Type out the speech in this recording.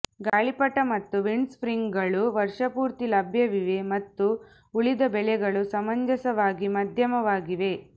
ಗಾಳಿಪಟ ಮತ್ತು ವಿಂಡ್ಸರ್ಫಿಂಗ್ಗಳು ವರ್ಷಪೂರ್ತಿ ಲಭ್ಯವಿವೆ ಮತ್ತು ಉಳಿದ ಬೆಲೆಗಳು ಸಮಂಜಸವಾಗಿ ಮಧ್ಯಮವಾಗಿವೆ